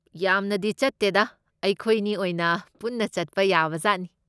ꯌꯥꯝꯅꯗꯤ ꯆꯠꯇꯦꯗꯥ꯫ ꯑꯩꯈꯣꯏꯅꯤ ꯑꯣꯏꯅ ꯄꯨꯟꯅ ꯆꯠꯄ ꯌꯥꯕꯖꯥꯠꯅꯤ꯫